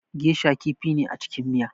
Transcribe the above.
Geisha kifi ne a cikin miya